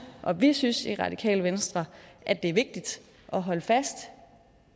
og vi synes i radikale venstre at det er vigtigt at holde fast